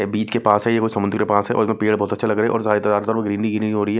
बीच के पास है ये कोई समुद्र के पास है और इसमें पेड़ बहुत अच्छे लग रहे हैं और हो रही है।